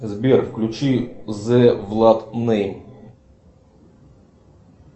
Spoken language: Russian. сбер включи зе влад нейм